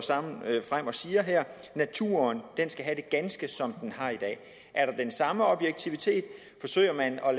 frem og siger naturen skal have det ganske som den har i dag er der den samme objektivitet forsøger man at